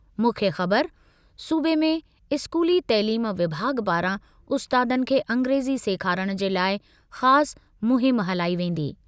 मुख्य ख़बर: सूबे में इस्कूली तइलीम विभाॻु पारां उस्तादनि खे अंग्रेज़ी सेखारणु जे लाइ ख़ासि मुहिम हलाई वेंदी।